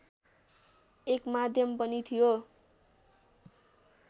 एक माध्यम पनि थियो